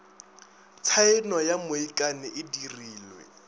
tshaeno ya moikani e dirilwe